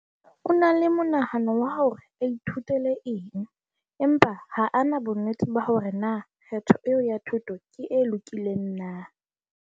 O na le monahano wa hore a ithutele eng empa ha a na bonnete ba hore na kgetho eo ya thuto ke e lokileng na.